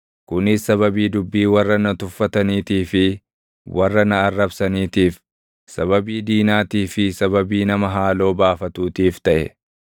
Kunis sababii dubbii warra na tuffataniitii fi warra na arrabsaniitiif, sababii diinaatii fi sababii nama haaloo baafatuutiif taʼe.